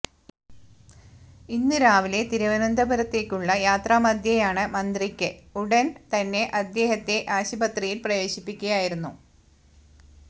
ഇന്ന് രാവിലെ തിരുവനന്തപുരത്തേക്കുള്ള യാത്രാ മധ്യേയാണ് മന്ത്രിയ്ക്ക് ഉടന് തന്നെ ഉദേഹത്തെ ആശുപത്രിയില് പ്രവേശിപ്പിക്കുകയായിരുന്നു